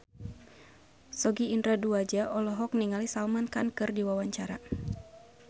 Sogi Indra Duaja olohok ningali Salman Khan keur diwawancara